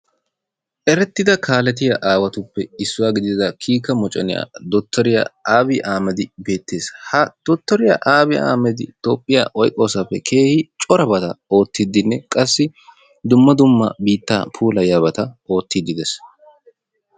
Erettida kaaletiyaa aawatuppe issuwa gidida kiike moccona Dottoriya Abi Aahhamadi beettees. Ha Dottoriya Abi aahhmadei toophiyaa oyqqoosappe keehi corabata oottidenne qassi dumma dumma biittaa puulayyiyabata oottide dees.